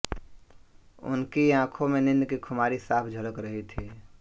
उनकी आखों में नींद की खुमारी साफ झलक रही थी